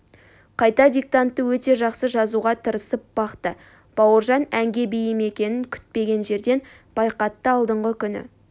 қайта диктантты өте жақсы жазуға тырысып бақты бауыржан әнге бейім екенін күтпеген жерден байқатты алдыңғы күні